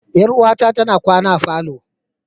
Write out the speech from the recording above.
Yar'uwata tana kwana a falo.